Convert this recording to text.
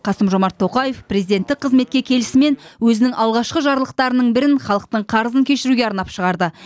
қасым жомарт тоқаев президенттік қызметке келісімен өзінің алғашқы жарлықтарының бірін халықтың қарызын кешіруге арнап шығарды